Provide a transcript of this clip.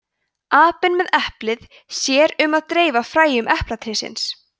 apinn með eplið sér um að dreifa fræjum eplatrésins